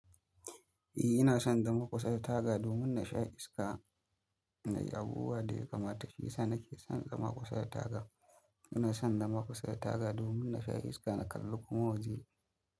Eh ina son dama kusa da taga domin na sha iska na yi abubuwa da ya kamata shi yasa nake son dama kusa da taga. Ina son zama kusa da taga domin na sha iska na kalla kuma waje.